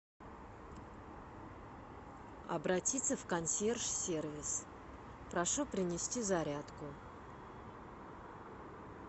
обратиться в консьерж сервис прошу принести зарядку